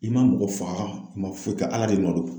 I ma mɔgɔ faga i ma foyi kɛ ala de nɔ don.